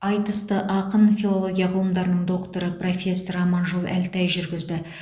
айтысты ақын филология ғылымдарының докторы профессор аманжол әлтай жүргізді